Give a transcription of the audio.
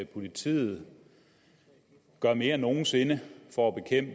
politiet gør mere end nogen sinde for